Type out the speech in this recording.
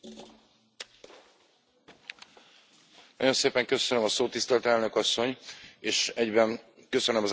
Nagyon szépen köszönöm a szót, tisztelt Elnök Asszony, és egyben köszönöm az árnyék jelentéstevők munkáját és együttműködését is.